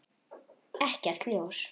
Ekkert ljós.